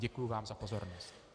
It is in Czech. Děkuji vám za pozornost.